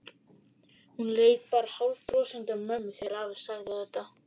Hún leit bara hálfbrosandi á mömmu þegar afi sagði þetta.